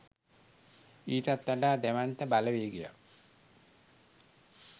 ඊටත් වඩා දැවැන්ත බලවේගයක්